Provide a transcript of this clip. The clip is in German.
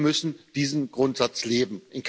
Wir müssen diesen Grundsatz leben.